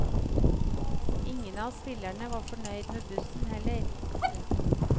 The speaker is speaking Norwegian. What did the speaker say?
Ingen av spillerne var fornøyd med bussen heller. punktum